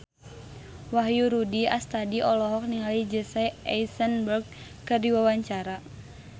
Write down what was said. Wahyu Rudi Astadi olohok ningali Jesse Eisenberg keur diwawancara